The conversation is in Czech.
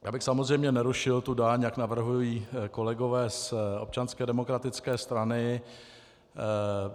Já bych samozřejmě nerušil tu daň, jak navrhují kolegové z Občanské demokratické strany.